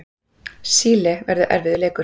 Síle verður erfiður leikur.